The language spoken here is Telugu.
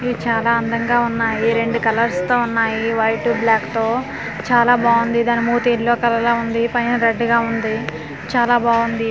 ఇవి చాలా అందంగా ఉన్నాయి రెండు కలర్స్ తో ఉన్నాయి వైట్ బ్లాక్ తో చాలా బాగుంది దాని మూతి ఎలో కలర్ లో ఉంది పైన రెడ్ కలర్ గా ఉంది చాలా బాగుంది .